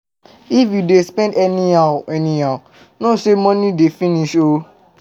If you dey spend anyhow anyhow, know say money dey finish oo